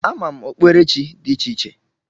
A ma m okpuerechi dị icheiche